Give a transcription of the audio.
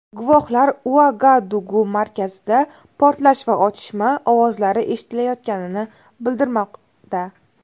Guvohlar Uagadugu markazida portlash va otishma ovozlari eshitilayotganini bildirmoqda.